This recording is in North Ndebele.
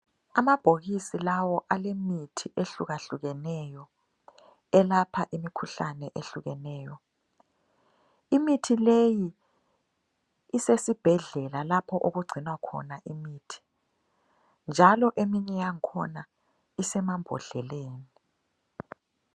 Amabhokisi lawo alemithi ehlukahlukeneyo. Elapha imikhuhlane ehlukeneyo. Imithi leyi isesibhedlela lapho okugcinwa khona imithi. Njalo eminye yakhona isemambodleleni.